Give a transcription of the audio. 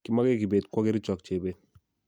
kimage kibet kwo kericho ak jebet